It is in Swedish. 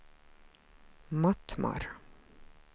Mattmar